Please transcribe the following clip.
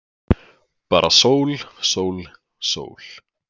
Bara sól, sól, sól.